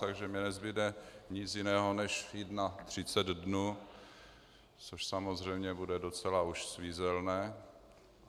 Takže mně nezbude nic jiného, než jít na třicet dnů, což samozřejmě bude docela už svízelné.